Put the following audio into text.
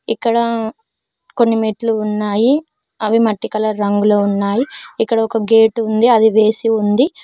ఇక్కడా కొన్ని మెట్లు ఉన్నాయి అవి మట్టి కలర్ రంగులో ఉన్నాయి ఇక్కడ ఒక గేటు ఉంది అది వేసి ఉంది.